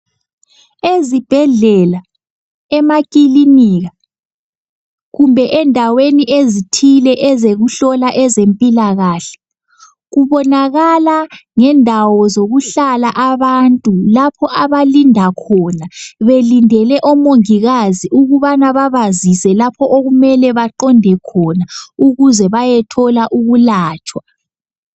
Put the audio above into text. Ezibhedlela, emakilinika kumbe endaweni ezithile ezokuhlola ezempilakahle. Kubonakala ngendawo zokuhlala abantu. Lapho abalinda khona. Belindele omongikazi ukubana babazise lapho okumele baqonde khona ukuze bayethola ukulatshwa.